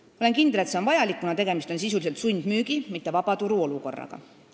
Ma olen kindel, et see on vajalik, kuna tegemist on sisuliselt sundmüügi, mitte vabaturu olukorraga.